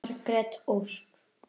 Margrét Ósk.